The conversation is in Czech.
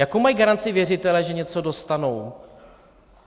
Jakou mají garanci věřitelé, že něco dostanou?